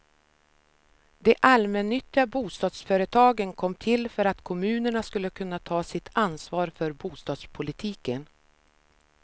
De allmännyttiga bostadsföretagen kom till för att kommunerna skulle kunna ta sitt ansvar för bostadspolitiken.